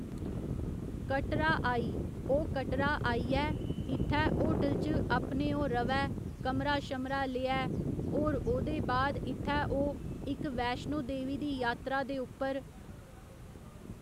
कटरा आई ओह् कटरा आइयै इत्थै होटल च अपने ओह् ऱवै कमरा शमरा लेऐ ओर ओह्दे बाद इत्थै ओह् इक वैश्णो देवी दी यात्रा दे उप्पर